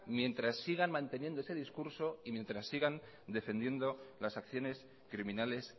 mientras sigan manteniendo ese discurso y mientras sigan defendiendo las acciones criminales